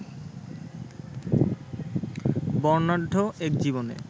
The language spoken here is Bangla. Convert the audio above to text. বর্ণাঢ্য এক জীবনের